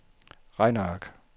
regneark